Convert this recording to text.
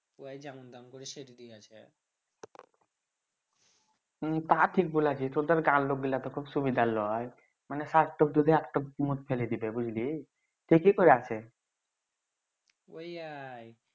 হম তা ঠিক বলেছি তোদের গাঁয়ের লোক গুলা তো ঠিক সুবিধের লই মানে ফেলে দিবে বুঝলি ঠিক এ ওই আর